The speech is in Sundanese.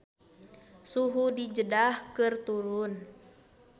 Suhu di Jeddah keur turun